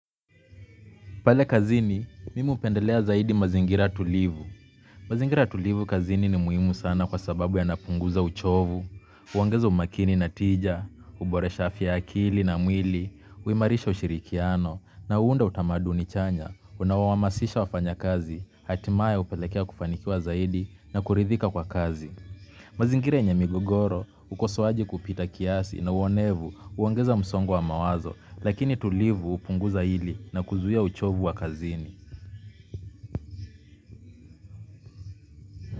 Pale kazini, mimi hupendelea zaidi mazingira tulivu. Mazingira tulivu kazini ni muhimu sana kwa sababu yanapunguza uchovu. Huongeza umakini na tija, huboresha afya ya akili na mwili, huimarisha ushirikiano, na huunda utamaduni chanya, unaohamasisha wafanyakazi, hatimaye hupelekea kufanikiwa zaidi na kuridhika kwa kazi. Mazingira yenye migogoro, ukosoaji kupita kiasi na uonevu huongeza msongo wa mawazo, lakini tulivu hupunguza hili na kuzuia uchovu wa kazini.